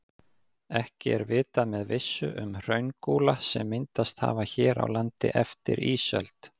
Ekki er vitað með vissu um hraungúla sem myndast hafa hér á landi eftir ísöld.